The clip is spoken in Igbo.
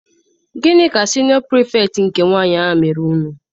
Gịnị ka siniọ pirifektị nke nwaanyị mere unu?